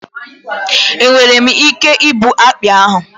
Enwere m ike igbu akpị ahụ?